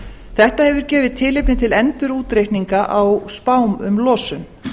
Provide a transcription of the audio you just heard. þetta hefur gefið tilefni til endurútreikninga á spám um losun